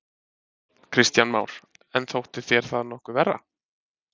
Kristján Már: En þótti þér það nokkuð verra?